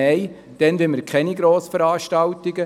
Nein, dann wollen wir keine Grossveranstaltungen.